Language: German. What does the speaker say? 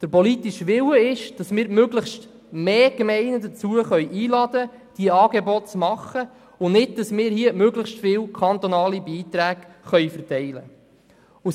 Der politische Wille möchte mehr Gemeinden dazu einladen, Angebote bereitzustellen und nicht, dass wir hier möglichst viele kantonale Beiträge verteilen können.